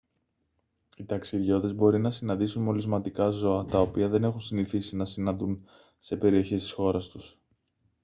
οι ταξιδιώτες μπορεί να συναντήσουν μολυσματικά ζώα τα οποία δεν έχουν συνηθίσει να συναντούν σε περιοχές της χώρας τους